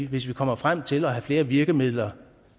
hvis vi kommer frem til at have flere virkemidler